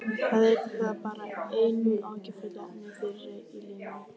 Það yrði þá bara einu áhyggjuefninu færra í mínu lífi.